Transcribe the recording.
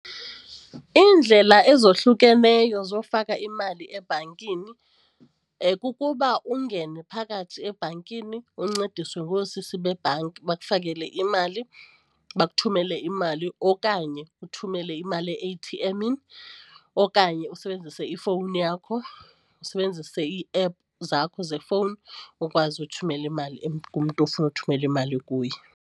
Iindlela ezohlukeneyo zofaka imali ebhankini kukuba ungene phakathi ebhankini uncediswe ngoosisi bebhanki, bakufakele imali bakuthumele imali okanye uthumele imali e-eyithienmini okanye usebenzise ifowuni yakho, usebenzise ii-app zakho zefowuni ukwazi uthumela imali kumntu ofuna ukuthumela imali kuye.